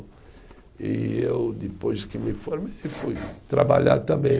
E eu, depois que me formei, fui trabalhar também.